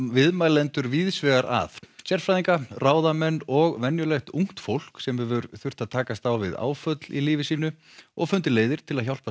viðmælendur víðs vegar að sérfræðinga ráðamenn og venjulegt fólk sem hefur þurft að takast á við áföll í lífi sínu og fundið leiðir til að hjálpa